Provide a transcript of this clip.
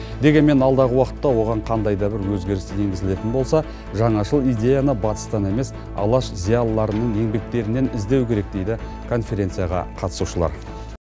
дегенмен алдағы уақытта оған қандай да бір өзгеріс енгізілетін болса жаңашыл идеяны батыстан емес алаш зиялыларының еңбектерінен іздеу керек дейді конференцияға қатысушылар